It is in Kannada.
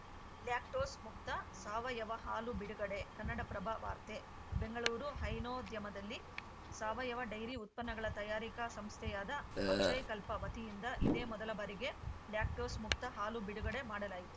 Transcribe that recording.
ಲ್ಯಾಕ್ಟೋಸ್‌ ಮುಕ್ತ ಸಾವಯವ ಹಾಲು ಬಿಡುಗಡೆ ಕನ್ನಡಪ್ರಭ ವಾರ್ತೆ ಬೆಂಗಳೂರು ಹೈನೋದ್ಯಮದಲ್ಲಿ ಸಾವಯವ ಡೈರಿ ಉತ್ಪನ್ನಗಳ ತಯಾರಿಕಾ ಸಂಸ್ಥೆಯಾದ ಅಕ್ಷಯಕಲ್ಪ ವತಿಯಿಂದ ಇದೇ ಮೊದಲ ಬಾರಿಗೆ ಲ್ಯಾಕ್ಟೋಸ್‌ ಮುಕ್ತ ಹಾಲು ಬಿಡುಗಡೆ ಮಾಡಲಾಯಿತು